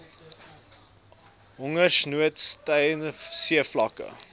hongersnood stygende seevlakke